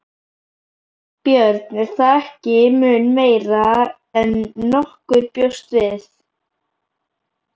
Björn: Er það ekki mun meira en nokkur bjóst við?